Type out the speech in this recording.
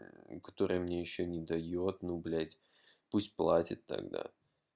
которые мне ещё не даёт ну блять пусть платит тогда